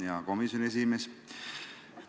Hea komisjoni esimees!